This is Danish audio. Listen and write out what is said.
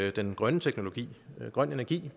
at den grønne teknologi og grøn energi